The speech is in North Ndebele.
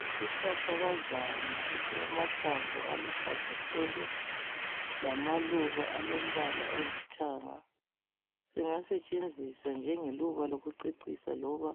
Isihlahlakazana esilamahlamvu aluhlaza tshoko lamaluba alombala olithanga. Singasetshenziswa njengeluba lokucecisa, loba